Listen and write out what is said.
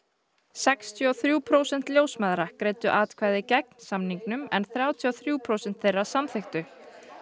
sextíu og þrjú prósent ljósmæðra greiddu atkvæði gegn samningnum en þrjátíu og þrjú prósent þeirra samþykktu